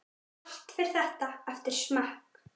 Allt fer þetta eftir smekk.